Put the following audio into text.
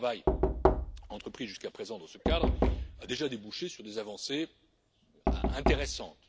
Le travail entrepris jusqu'à présent dans ce cadre a déjà débouché, à ce stade, sur des avancées intéressantes.